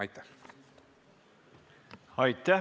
Aitäh!